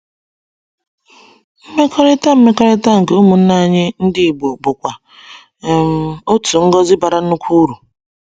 Mmekọrịta Mmekọrịta nke ụmụnne anyị ndị igbo bụkwa um otu ngọzi bara nnukwu uru.